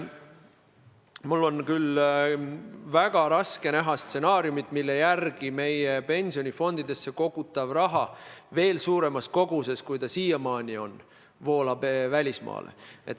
Mul on küll väga keeruline näha stsenaariumi, mille järgi meie pensionifondidesse kogutav raha veel suuremas koguses kui siiamaani voolab välismaale.